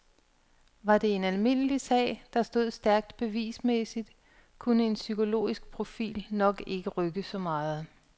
Var det en almindelig sag, der stod stærkt bevismæssigt, kunne en psykologisk profil nok ikke rykke så meget.